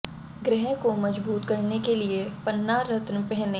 ग्रह को मजबूत करने के लिए पन्ना रत्न पहनें